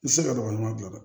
I tɛ se ka dɔgɔɲɔgɔn bila dɛ